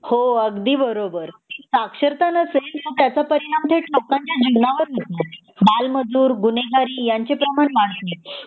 हो अगदी बरोबर साक्षरता नसेल तर त्याचा परिणाम थेट लोकांच्या जीवनावर होतो बालमजूर गुन्हेगारी ह्याच प्रमाण वाढत